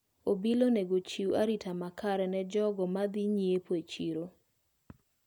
Obila onego ochiu arita makare ne jogo madhi nyiepo e chiro.